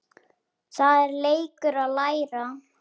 Það er leikur að læra